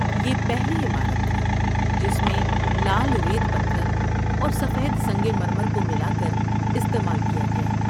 یہ پہلی عمارت تھی جس میں لال ریت پتھر اور سفید سنگ مرمر کو ملا کر استعمال کیا گیا۔